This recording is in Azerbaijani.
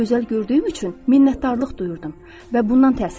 Mən gözəl gördüyüm üçün minnətdarlıq duyurdum və bundan təsirlənirdim.